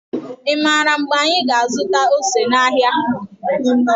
i maara mgbe anyị ga azụta ose n' áhiá.